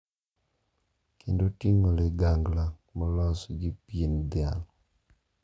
kendo ting’o ligangla ma olosi gi pien dhiang`.